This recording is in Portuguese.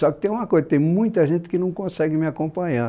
Só que tem uma coisa, tem muita gente que não consegue me acompanhar.